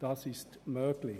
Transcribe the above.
Das ist möglich.